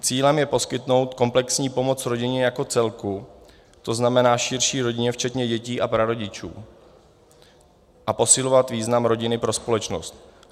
Cílem je poskytnout komplexní pomoc rodině jako celku, to znamená širší rodině včetně dětí a prarodičů, a posilovat význam rodiny pro společnost.